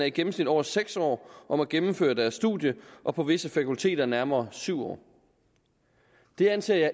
i gennemsnit over seks år om at gennemføre deres studie og på visse fakulteter nærmere syv år det anser jeg